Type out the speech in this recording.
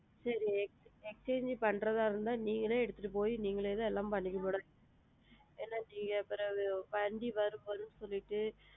சரி exchange பண்றதா இருந்தா நீங்களே எடுத்துட்டு போயி நீங்களே தான் எல்லாமே பண்ணிக்கணும் madam ஏன்னா நீங்க பிரவு சொல்லிட்டு,